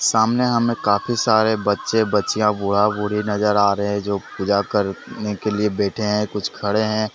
सामने हमें काफी सारे बच्चे बच्चियां बूढ़ा बूढ़ी नजर आ रहे हैं जो पूजा करने के लिए बैठे हैं कुछ खड़े हैं ।